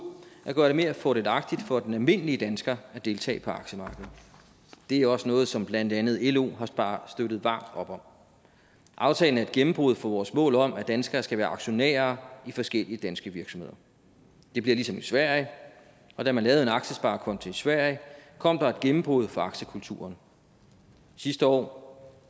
at gøre det mere fordelagtigt for den almindelige dansker at deltage på aktiemarkedet det er også noget som blandt andet lo har støttet varmt op om aftalen er et gennembrud for vores mål om at danskere skal være aktionærer i forskellige danske virksomheder det bliver ligesom i sverige og da man lavede en aktiesparekonto i sverige kom der et gennembrud for aktiekulturen sidste år